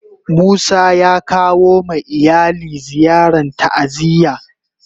Musa ya kawo ma iyali ziyarn ta'aziyya.